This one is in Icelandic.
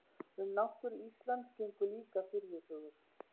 Um náttúru Íslands gengu líka furðusögur.